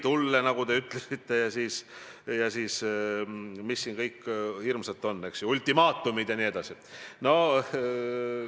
Mis hinnangu te annate peaministri siinsele esinemisele, mille käigus ta mitu korda kordas, et prokuratuur ei ole poliitiliselt mõjutatav?